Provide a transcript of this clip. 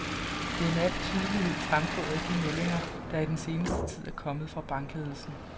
Det er med al tydelighed fremgået af de meldinger, der i den seneste tid er kommet fra bankledelserne.